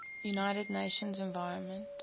united nations environment